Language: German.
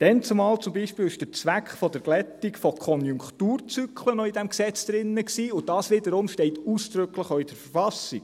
Damals enthielt dieses Gesetz zum Beispiel noch den Zweck der Glättung von Konjunkturzyklen, und dies wiederum steht auch ausdrücklich in der Verfassung.